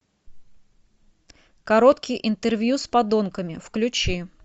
короткие интервью с подонками включи